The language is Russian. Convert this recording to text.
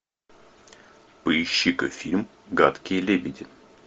поищи ка фильм гадкие лебеди